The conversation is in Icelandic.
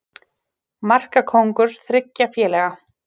Markakóngur þriggja félaga